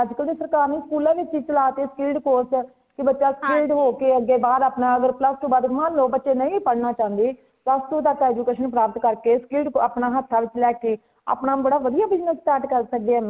ਅੱਜ ਕਲ ਤੇ ਸਰਕਾਰ ਨੂੰ school ਵਿੱਚ ਚਲਾ ਤੇ ਨੇ speed course ਕੀ ਬੱਚਾ skilled ਹੋ ਕੇ ਅਗੇ ਬਾਦ ਆਪਣਾ plus two ਬਾਦ ਮਨਲੋ ਬੱਚੇ ਨਹੀਂ ਪੜਨਾ ਚਾਹੰਦੇ plus two ਤਕ education ਪ੍ਰਾਪਤ ਕਰ ਕੇ skilled ਅਪਣਾ ਹੱਥਾਂ ਵਿੱਚ ਲੇਕੇ ਅਪਣਾ ਬੜਾ ਵਧੀਆ business start ਕਰ ਸਕਦੇ ਹੈ maam